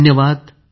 धन्यवाद